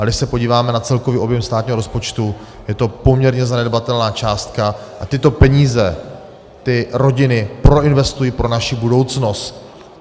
A když se podíváme na celkový objem státního rozpočtu, je to poměrně zanedbatelná částka a tyto peníze ty rodiny proinvestují pro naši budoucnost.